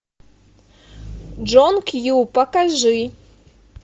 джон кью покажи